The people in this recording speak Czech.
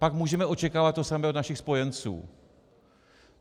Pak můžeme očekávat to samé od našich spojenců.